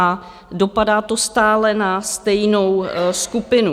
A dopadá to stále na stejnou skupinu.